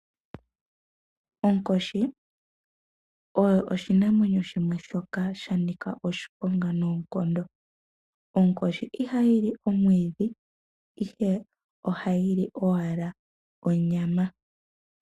Onkoshi oyo oshinamwenyo shimwe shoka shanika oshiponga noonkondo, Onkoshi iha yili omwiidhi Ihe oha yili owala onyama.